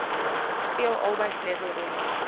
speel albei sleutelrolle